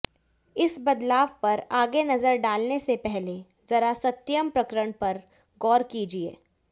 इस बदलाव पर आगे नजर डालने से पहले जरा सत्यम प्रकरण पर गौर कीजिए